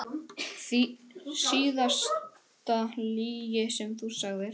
Síðasta lygi sem þú sagðir?